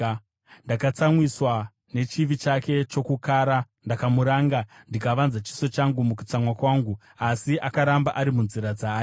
Ndakatsamwiswa nechivi chake chokukara; ndakamuranga, ndikavanza chiso changu mukutsamwa kwangu, asi akaramba ari munzira dzaaida.